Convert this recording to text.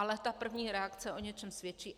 Ale ta první reakce o něčem svědčí.